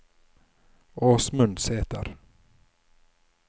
Åsmund Sæter